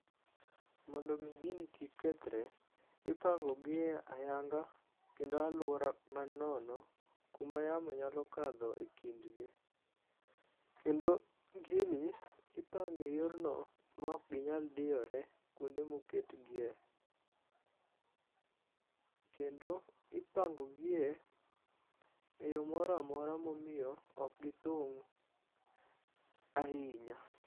Mondo mi gini kik kethre ipango gi e hayanga kendo aluora ma nono kuma yamo nyalo kadho e kindgi kendo gini ipange yorno maok ginyal diore kuonde ma oketgie. Kendo ipango gie, e yoo moro amora momiyo ok githung ahinya